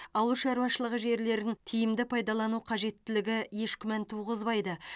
ауыл шаруашылығы жерлерін тиімді пайдалану қажеттілігі еш күмән туғызбайды